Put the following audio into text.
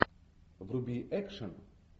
вруби экшен